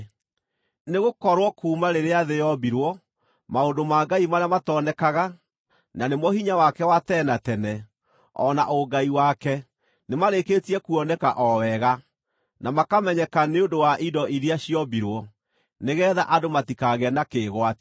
Nĩgũkorwo kuuma rĩrĩa thĩ yombirwo, maũndũ ma Ngai marĩa matonekaga, na nĩmo hinya wake wa tene na tene, o na ũngai wake, nĩmarĩkĩtie kuoneka o wega, na makamenyeka nĩ ũndũ wa indo iria ciombirwo, nĩgeetha andũ matikagĩe na kĩĩgwatio.